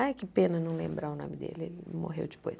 Ai, que pena não lembrar o nome dele, ele morreu depois.